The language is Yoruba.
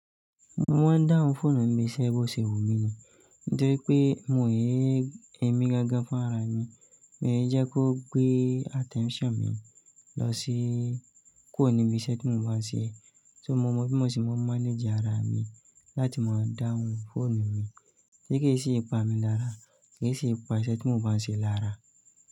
Mo ń dawu phone mi ni ibíṣe bo se wù mí ni. Nítori pé mò ń ein, ẹ̀mí gangan fún ara mi, mo ń jẹ kí ó gbé attention mi lọ sí kuro ni ibi iṣẹ́ tí mo ń bá ṣe. So mo mọ bí mo ṣe máa manage ara mi láti máa dawu phonu mi, Ti kì sì pa mi lára, kí sì pa iṣẹ́ tí mo bánṣe lára.